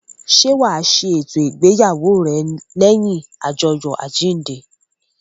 Ṣé wa ṣe eto ìgbéyàwó rẹ lẹ́yìn ajoyo àjíǹde?